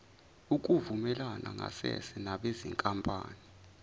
ukuvumelana ngasese nabezinkampani